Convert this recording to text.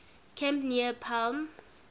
camp near palm